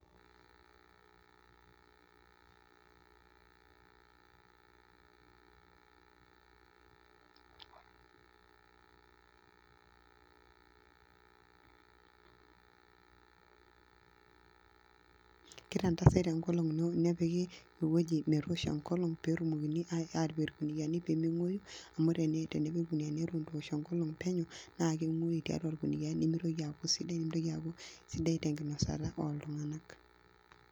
Pause for more than 4 seconds.